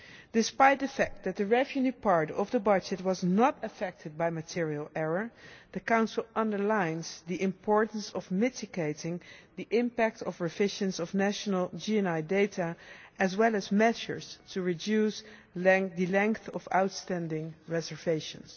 Despite the fact that the revenue part of the budget was not affected by material error, the Council underlines the importance of mitigating the impact of revisions of national GNI data as well as measures to reduce the length of outstanding reservations.